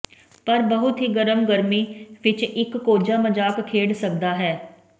ਪਰ ਬਹੁਤ ਹੀ ਗਰਮ ਗਰਮੀ ਵਿੱਚ ਇੱਕ ਕੋਝਾ ਮਜ਼ਾਕ ਖੇਡ ਸਕਦਾ ਹੈ